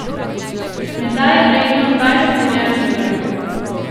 Menda je vredno dvajset milijard dolarjev.